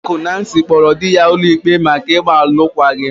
Oriakụ Nancy kpọọrọ di ya ụlọikpe maka ịgba alụkwaghịm.